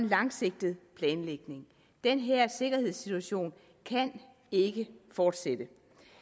langsigtet planlægning den her sikkerhedssituation kan ikke fortsætte